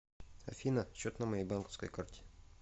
афина счет на моей банковской карте